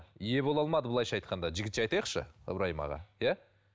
ие бола алмады былайша айтқанда жігітше айтайықшы ыбырайым аға иә